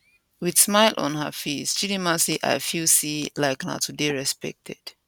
wit smile on her face chidimma say i feel say like na to dey respected